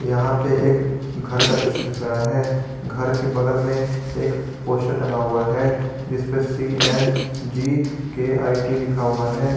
यहा पे एक घर का दृश्य दिख रहा है घर के बगल मे एक पोस्टर टंगा हुआ है जिसपे सी_एन_जी के_आई_टी लिखा हुआ है।